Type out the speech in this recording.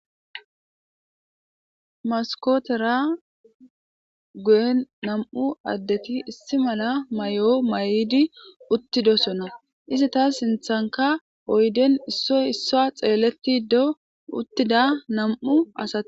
Maskotera guyen nam'u addeti issi mala may'o mayidi uttidosona. Izita sinththankka oyidden issoy issiwa xeeltido uttida nam'u asati